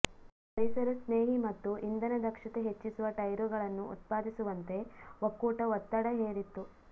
ಪರಿಸರ ಸ್ನೇಹಿ ಮತ್ತು ಇಂಧನ ದಕ್ಷತೆ ಹೆಚ್ಚಿಸುವ ಟೈರುಗಳನ್ನು ಉತ್ಪಾದಿಸುವಂತೆ ಒಕ್ಕೂಟ ಒತ್ತಡ ಹೇರಿತ್ತು